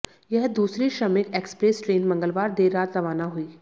यह दूसरी Shramik express train मंगलवार देर रात रवाना हुई